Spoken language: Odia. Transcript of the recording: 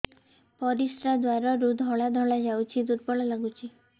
ପରିଶ୍ରା ଦ୍ୱାର ରୁ ଧଳା ଧଳା ଯାଉଚି ଦୁର୍ବଳ ଲାଗୁଚି